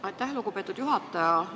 Aitäh, lugupeetud juhataja!